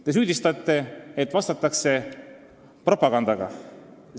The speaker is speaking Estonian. Te süüdistate, et vastatakse propagandaga.